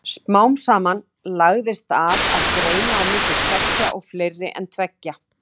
Smám saman lagðist af að greina á milli tveggja og fleiri en tveggja.